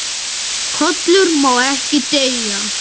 KOLUR MÁ EKKI DEYJA